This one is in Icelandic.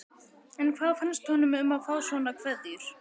En hvað fannst honum um að fá svona kveðjur?